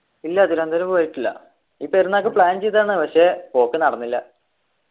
ഇല്ല തിരുവനന്തപുരം പോയിട്ടില്ല ഈ പെരുന്നാക്ക് plan ചെയ്തതാണ് പക്ഷെ പോക്ക് നടന്നില്ല